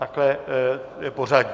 Takhle je pořadí.